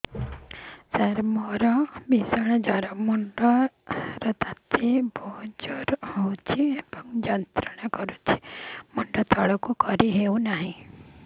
ସାର ମୋର ଭୀଷଣ ଜ୍ଵର ମୁଣ୍ଡ ର ତାତି ଉଠୁଛି ଏବଂ ଯନ୍ତ୍ରଣା କରୁଛି ମୁଣ୍ଡ ତଳକୁ କରି ହେଉନାହିଁ